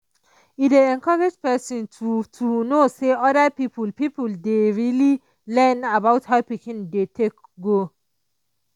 e dey encourage person to to know say other people people dey really learn about how pikin dey take grow.